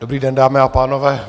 Dobrý den, dámy a pánové.